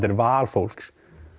er val fólks